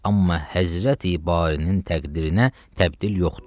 Amma Həzrəti Barinin təqdirinə təbdil yoxdur.